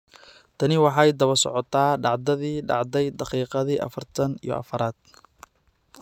Tani waxay daba socotaa dhacdadii dhacday daqiiqadii afartan iyo afaraad.